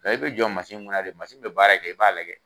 i be jɔ kunna de, be baara kɛ i b'a lajɛ.